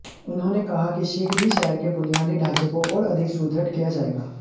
उन्होंने कहा कि शीघ्र ही शहर के बुनियादी ढांचे को और अधिक सुदृढ किया जाएगा